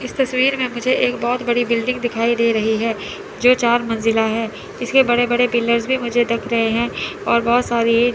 इस तस्वीर में मुझे एक बहोत बड़ी बिल्डिंग दिखाई दे रही है जो चार मंजिला है इसके बड़े बड़े पिलर्स भी मुझे दिख रहे हैं और बहोत सारी--